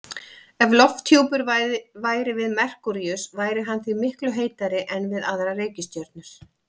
Ef lofthjúpur væri við Merkúríus væri hann því miklu heitari en við aðrar reikistjörnur.